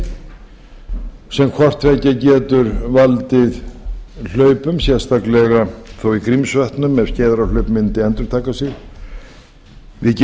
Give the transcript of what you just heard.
sem hvort tveggja getur valdið hlaupum sérstaklega þó í grímsvötnum ef skeiðarárhlaup mundi endurtaka sig við